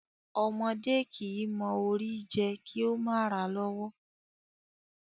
Ọmọdé kìí mọ Ori jẹ kí ó mà ràa lọ́wọ́.